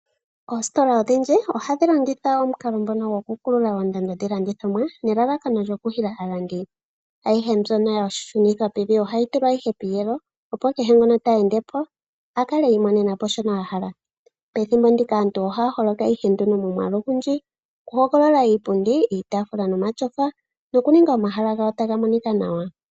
Oositola odhindji ohadhi longitha omukalo gokukulula oondando dhiilandithomwa nelalakano lyokuhila aalandi. Ayihe mbyono ya kululwa oondando ohayi tulwa ihe piiyelo, opo kehe ngoka te ende po a kale i imonena po kehe shoka a hala. Pethimbo ndika aantu ohaya holoka nduno momwaalu ogundji okuhogolola iipundi, iitaafula nomatyofa nokuninga omahala gawo taga monika nawa.